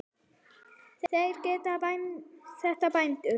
Gerið þetta, bændur!